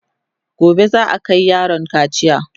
gobe za'a Kai yaron kaciya